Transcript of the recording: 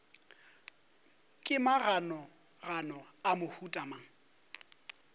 ke maganogano a mohuta mang